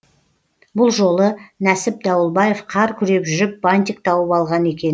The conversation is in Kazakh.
бұл жолы нәсіп дауылбаев қар күреп жүріп бантик тауып алған екен